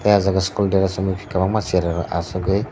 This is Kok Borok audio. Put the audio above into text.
aw jaag school dress chumui kwbangma cherai rok asuk oi.